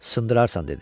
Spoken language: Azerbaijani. Sındırarsan," dedi.